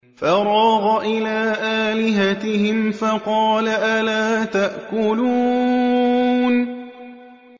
فَرَاغَ إِلَىٰ آلِهَتِهِمْ فَقَالَ أَلَا تَأْكُلُونَ